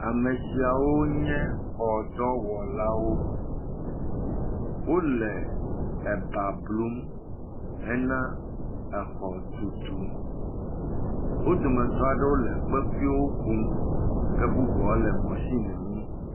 Ame sia wo nye xɔ ɖɔwɔlawo. Wole eba blum hena exɔ tutu. Wo dometɔ aɖewo le kpekuiwo kum ke bubuawo le mɔsimwo ŋu.